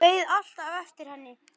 Beið alltaf eftir henni.